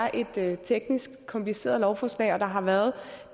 at det er et teknisk kompliceret lovforslag og der har været